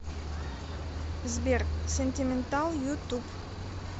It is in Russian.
сбер сентиментал ютуб